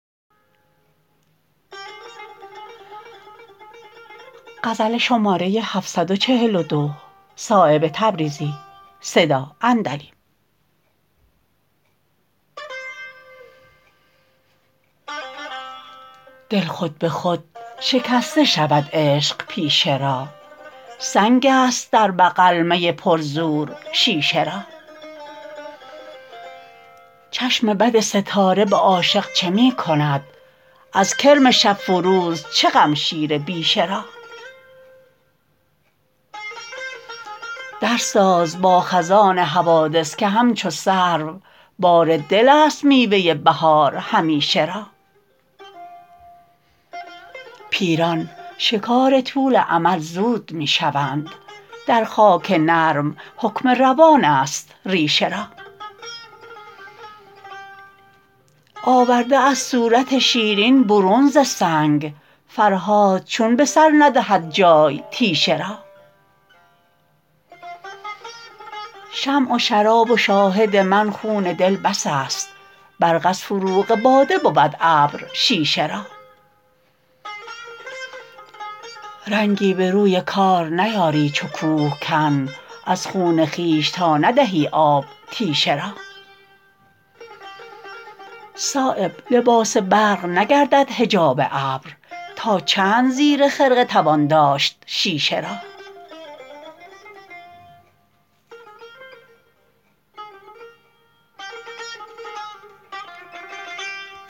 دل خود به خود شکسته شود عشق پیشه را سنگ است در بغل می پر زور شیشه را چشم بد ستاره به عاشق چه می کند از کرم شب فروز چه غم شیر بیشه را در ساز با خزان حوادث که همچو سرو بار دل است میوه بهار همیشه را پیران شکار طول امل زود می شوند در خاک نرم حکم روان است ریشه را آورده است صورت شیرین برون ز سنگ فرهاد چون به سر ندهد جای تیشه را شمع و شراب و شاهد من خون دل بس است برق از فروغ باده بود ابر شیشه را رنگی به روی کار نیاری چو کوهکن از خون خویش تا ندهی آب تیشه را صایب لباس برق نگردد حجاب ابر تا چند زیر خرقه توان داشت شیشه را